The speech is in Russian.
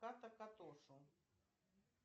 ката катошу